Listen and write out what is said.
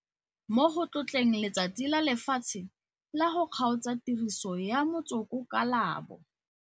Mo go tlotleng Letsatsi la Lefatshe la go Kgaotsa Tiriso ya Motsoko ka la bo